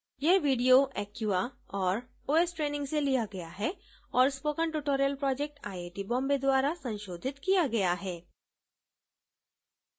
यह video acquia और os training से लिया गया है और spoken tutorial project IIT Bombay द्वारा संशोधित किया गया है